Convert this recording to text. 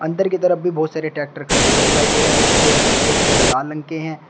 अंदर की तरफ भी बहुत सारे ट्रैक्टर खड़े हुए दिखाई दे रहे हैं जो सफेद वह लाल रंग के हैं।